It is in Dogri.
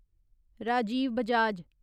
राजीव बजाज